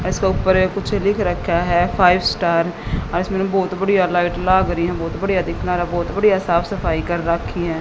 इसके ऊपर ये कुछ लिख रखा है फाइव स्टार इसमें बहोत बढ़िया लाइट लाग रही है बहोत बढ़िया दिख ना रा बहोत बढ़िया साफ सफाई कर रखी है।